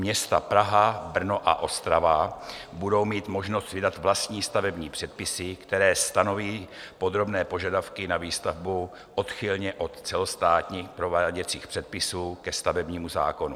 Města Praha, Brno a Ostrava budou mít možnost vydat vlastní stavební předpisy, které stanoví podrobné požadavky na výstavbu odchylně od celostátních prováděcích předpisů ke stavebnímu zákonu.